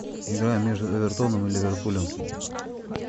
игра между эвертоном и ливерпулем